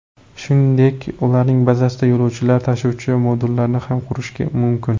Shuningdek, ularning bazasida yo‘lovchilar tashuvchi modullarni ham qurish mumkin.